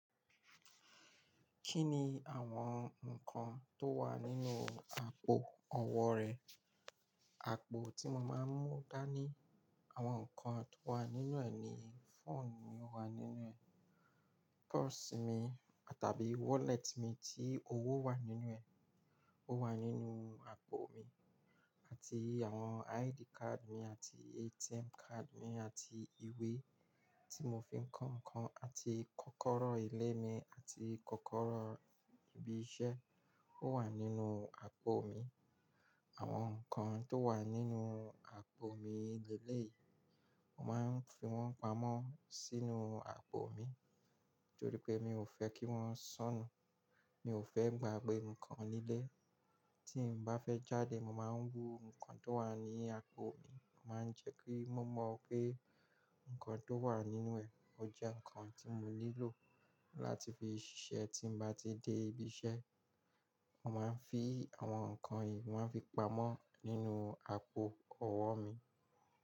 Kí ni àwọn nǹkan tó wà nínú àpò ọwọ́ rẹ? Àpò tí mo máa ń mú dání, àwọn nǹkan tó wà nínú ẹ̀ ni fóònù mi wà nínú ẹ̀, purse mi tàbí wallet mi tí owó wà nínú ẹ̀, ó wà nínú àpò mi àti àwọn ID card mi àti ATM card mi àti ìwé tí mo fi ń kọ nǹkan àti kọ́kọ́rọ́ ilé mi àti kọ́kọ́rọ́ ibi iṣẹ́, ó wà nínú àpò mi. Àwọn nǹkan tó wà nínú àpò mi lélẹ̀ yìí, mo máa ń fi wọ́n pamọ́ sínú àpò mi nítorí pé mi ò fẹ́ kí wọ́n sọnù, mi ò fẹ́ gba pé nǹkan nílẹ̀. Tí n bá fẹ́ jáde, mo máa ń wú nǹkan tó wà ní àpò mi, màá ń jẹ́kí mó mọ̀ pé nǹkan tó wà nínú ẹ̀ ó jẹ́ nǹkan tí mo nílò láti fi ṣiṣẹ́ tí mo bá ti dé ibi iṣẹ́. Mo máa ń fi àwọn nǹkan yìí, wọ́n fi pamọ́ nínú àpò ọwọ́ mi.